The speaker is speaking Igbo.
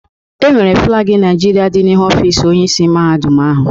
E nwere flagi Naịjirịa dị n'ihu ọfis Onyeisi Mahadum ahụ.